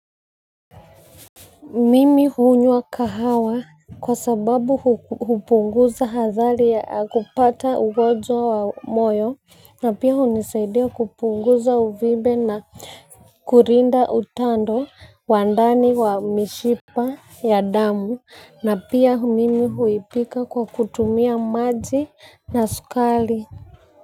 Mimi hunywa kahawa kwa sababu hupunguza athari ya kupata ugonjwa wa moyo na pia hunisaidia kupunguza uvimbe na kulinda utando wa ndani wa mishipa ya damu na pia mimi huipika kwa kutumia maji na sukari.